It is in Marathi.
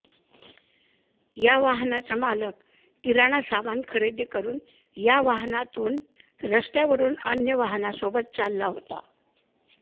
या वाहनाचा मालक किराणा सामान खरेदी करून या वाहनातून रस्त्यावरून अन्य वाहनांसोबत चालला होता